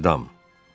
Edam.